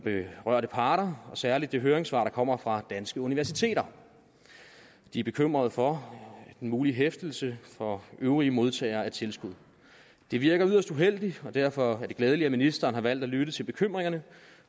berørte parter og særlig det høringssvar der kommer fra danske universiteter de er bekymrede for den mulige hæftelse for øvrige modtagere af tilskud det virker yderst uheldigt og derfor er det glædeligt at ministeren har valgt at lytte til bekymringerne